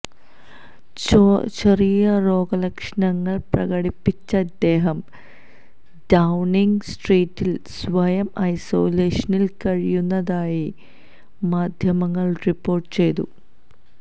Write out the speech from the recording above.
ചെറിയ രോഗലക്ഷണങ്ങൾ പ്രകടിപ്പിച്ച ഇദ്ദേഹം ഡൌണിങ് സ്ട്രീറ്റിൽ സ്വയം ഐസോലേഷനിൽ കഴിയുന്നതായി മാധ്യമങ്ങൾ റിപ്പോർട്ടു ചെയ്തു